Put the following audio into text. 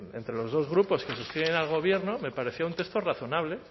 de entre los dos grupos que sostienen al gobierno me pareció un texto razonable